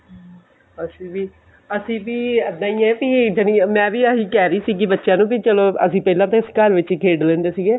ਅਸੀਂ ਵੀ ਅਸੀਂ ਵੀ ਏਦਾਂ ਈ ਐਂ ਵੀ ਮੈਂ ਵੀ ਆਹੀ ਕਹਿ ਰਹੀ ਸੀਗੀ ਬੱਚਿਆ ਨੂੰ ਕਿ ਚੱਲੋ ਅਸੀਂ ਪਹਿਲਾਂ ਤਾਂ ਇਸੇ ਘਰ ਵਿੱਚ ਹੀ ਖੇਡ ਲਿੰਦੇ ਸੀਗੇ